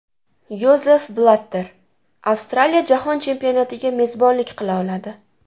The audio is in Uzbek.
Yozef Blatter: Avstraliya jahon chempionatiga mezbonlik qila oladi.